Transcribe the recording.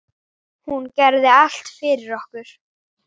Hún gerði allt fyrir okkur.